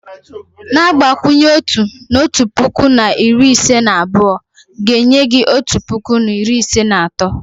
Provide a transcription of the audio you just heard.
Na-agbakwụnye otu, na otu puku na iri ise na abụọ, ga enye hi otu puku na iri ise na atọ